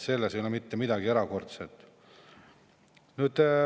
Selles ei ole mitte midagi erakordset.